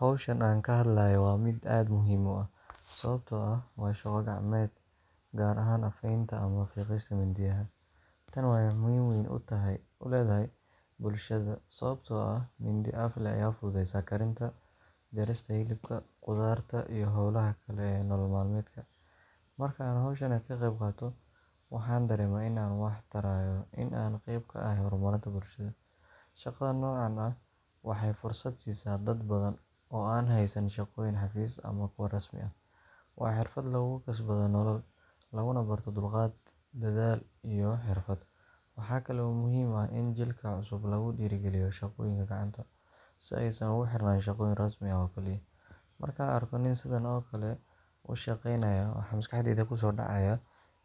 Hawsha aan ka hadlayno waa mid aad muhiim u ah, sababtoo ah waa shaqo gacmeed, gaar ahaan afaynta ama fiiqista mindiyaha. Tani waxay muhiimad weyn u leedahay bulshada, sababtoo ah mindi af leh ayaa fududeysa karinta, jarista hilibka, khudaarta, iyo howlaha kale ee nolol maalmeedka. Marka aan hawshan ka qayb qaato, waxaan dareemaa in aan wax tarayo, in aan qayb ka ahay horumarinta bulshada. Shaqada noocan ah waxay fursad siisaa dad badan oo aan haysan shaqooyin xafiis ama kuwo rasmi ah. Waa xirfad lagu kasbado nolol, laguna barto dulqaad, dadaal iyo xirfad. Waxa kale oo muhiim ah in jiilka cusub lagu dhiirrigeliyo shaqooyinka gacanta, si aysan ugu xirnaan shaqooyin rasmi ah oo kaliya. Markaan arko nin sidan oo kale u shaqaynaya, waxaa maskaxdayda ku soo dhacaya